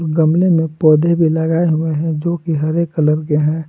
गमले में पौधे भी लगाए हुए हैं जो की हरे कलर के हैं।